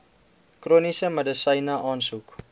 chroniese medisyne aansoek